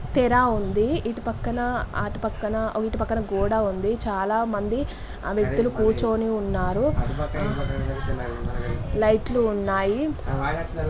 తెర ఉంది ఇటు పక్కన ఆటు పక్కన ఇటు పక్కన గోడ ఉంది చాలామంది ఆ వ్యక్తులు కూర్చుని ఉన్నారు లైట్లు ఉన్నాయి.